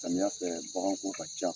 Samiya fɛ bagan ko ka ca.